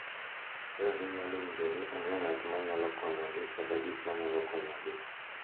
Kaka ginyalo winjo ni onge ng’at ma nyalo konyogi kata gik ma nyalo konyogi.